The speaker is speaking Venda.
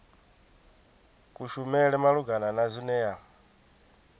kushumele malugana na zwine ya